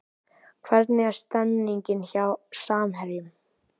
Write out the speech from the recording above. Hvernig er stemningin hjá Samherjum?